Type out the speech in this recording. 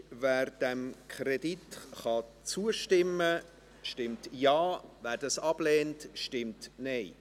Wer diesem Kredit zustimmen kann, stimmt Ja, wer das ablehnt, stimmt Nein.